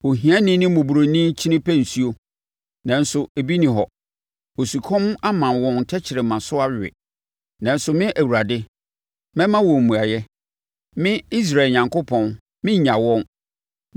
“Ohiani ne mmɔborɔni kyini pɛ nsuo, nanso ebi nni hɔ; osukɔm ama wɔn tɛkrɛma so awe. Nanso me Awurade, mɛma wɔn mmuaeɛ. Me, Israel Onyankopɔn, merennya wɔn.